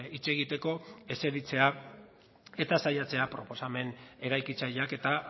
hitz egiteko esertzea eta saiatzea proposamen eraikitzaileak eta